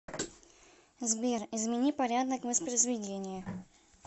сбер измени порядок воспризведения